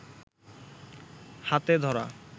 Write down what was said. হাতে ধরা